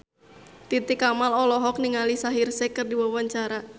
Titi Kamal olohok ningali Shaheer Sheikh keur diwawancara